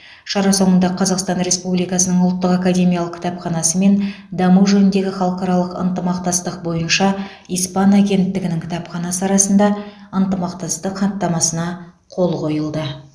шара соңында қазақстан республикасының ұлттық академиялық кітапханасы мен даму жөніндегі халықаралық ынтымақтастық бойынша испан агенттігінің кітапханасы арасында ынтымақтастық хаттамасына қол қойылды